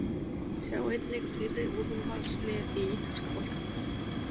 Sjá einnig: Fyrri úrvalslið í ítalska boltanum